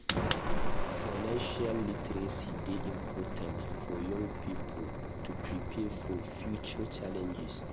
Financial literacy dey important for young people to prepare for future challenges.